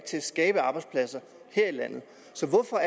til at skabe arbejdspladser her i landet så hvorfor